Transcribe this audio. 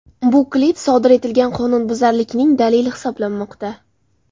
Bu klip sodir etilgan qonunbuzarlikning dalili hisoblanmoqda.